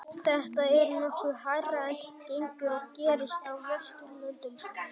Þetta er nokkuð hærra en gengur og gerist á Vesturlöndum.